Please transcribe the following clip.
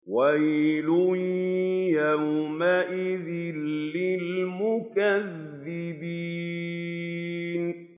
وَيْلٌ يَوْمَئِذٍ لِّلْمُكَذِّبِينَ